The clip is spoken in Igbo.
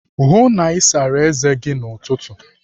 Hụụ na Ị sara eze gi n'ụtụtụ!